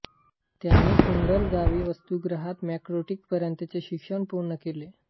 त्यांनी कुंडल गावी वसतिगृहात मॅट्रिकपर्यंतचे शिक्षण पूर्ण केले